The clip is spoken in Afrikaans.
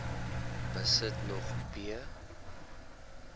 besit nog p